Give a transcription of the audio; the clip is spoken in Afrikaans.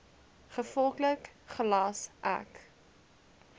gevolglik gelas ek